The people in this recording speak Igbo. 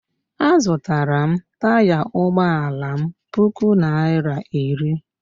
Azụtara m taya ụgbọala m puku naira iri